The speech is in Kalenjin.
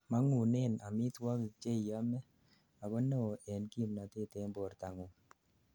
mangunen amitwogik cheiyomei ,ago neo en kimnatet en bortangung